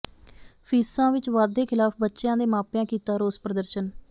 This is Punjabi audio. ਫੀਸਾਂ ਵਿਚ ਵਾਧੇ ਖਿਲਾਫ਼ ਬੱਚਿਆਂ ਦੇ ਮਾਪਿਆਂ ਕੀਤਾ ਰੋਸ ਪ੍ਰਦਰਸ਼ਨ